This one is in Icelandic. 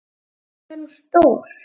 Hvað er hún stór?